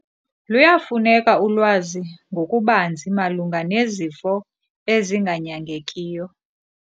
Luyafuneka ulwazi ngokubanzi malunga nezifo ezinganyangekiyo.